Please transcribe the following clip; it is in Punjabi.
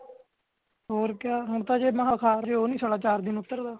ਹੋਰ ਕਯਾ ਹੋਣ ਤੇ ਜੇੜਾ ਬੁਖਾਰ ਜੀਅ ਉਹ ਨਹੀਂ ਸਾਲ ਚਾਰ ਦਿਨ ਉਤਰਦਾ